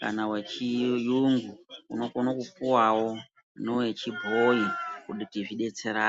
kana wechiyungu, unokone kupuwawo newechibhoyi kuti zvidetserane.